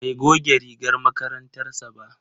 Bai goge rigar makarantar sa ba.